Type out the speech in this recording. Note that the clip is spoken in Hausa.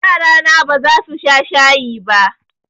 Yarana ba za su sha shayi ba.